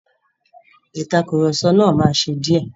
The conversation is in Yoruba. Ìtàkurọ̀sọ náà máa ṣe díẹ̀.